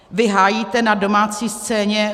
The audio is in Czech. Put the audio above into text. Vy hájíte na domácí scéně